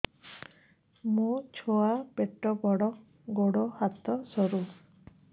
ମୋ ଛୁଆ ପେଟ ବଡ଼ ଗୋଡ଼ ହାତ ସରୁ